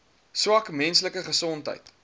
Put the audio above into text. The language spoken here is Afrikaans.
swak menslike gesondheid